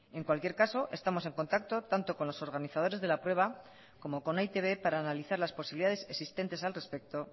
en cualquier caso estamos en contacto tanto con los organizadores de la prueba como con e i te be para analizar las posibilidades existentes al respecto